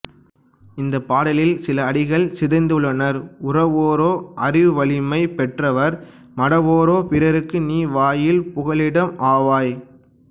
இந்தப் பாடலில் சில அடிகள் சிதைந்துள்ளனஉரவோரோ அறிவுவலிமை பெற்றவர் மடவோரோ பிறர்க்கு நீ வாயில் புகலிடம் ஆவாய்